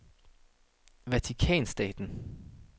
Vatikanstaten